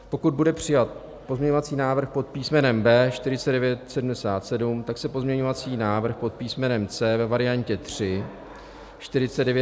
Pokud bude přijat pozměňovací návrh pod písmenem B 4977, tak se pozměňovací návrh pod písmenem C ve variantě 3 - 4995 již nebude hlasovat.